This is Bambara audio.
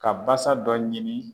Ka basa dɔ ɲini